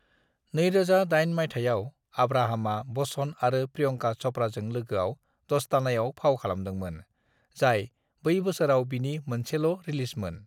"2008 मायथाइयाव, आब्राहामा बच्चन आरो प्रियंका चपड़ाजों लोगोआव दोस्तानायाव फाव खालामदोंमोन, जाय बै बोसोराव बिनि मोनसेल' रिलिजमोन।"